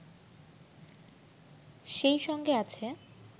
সেই সঙ্গে আছে